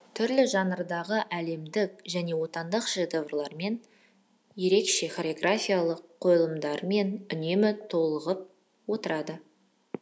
түрлі жанрдағы әлемдік және отандық шедеврлермен ерекше хореографиялық қойылымдармен үнемі толығып отырады